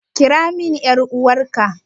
Kira min ƴar'uwarka!